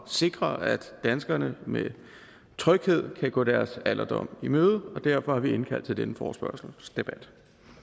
sikre at danskerne med tryghed kan gå deres alderdom i møde og derfor har vi indkaldt til denne forespørgselsdebat